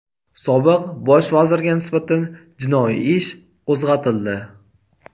Sobiq Bosh vazirga nisbatan jinoiy ish qo‘zg‘atildi.